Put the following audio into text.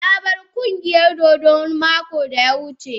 Na bar ƙungiyar dodo mako da ta wuce.